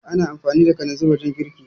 Ana amfani da kalanzin wajen girki